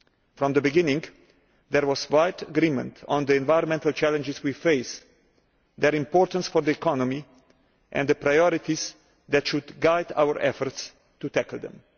From the beginning, there was wide agreement on the environmental challenges we face, their importance for the economy and the priorities that should guide our efforts to tackle them.